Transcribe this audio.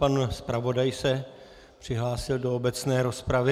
Pan zpravodaj se přihlásil do obecné rozpravy.